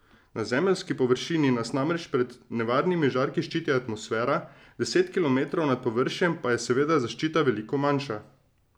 Na Zemeljski površini nas namreč pred nevarnimi žarki ščiti atmosfera, deset kilometrov nad površjem pa je seveda zaščita veliko manjša.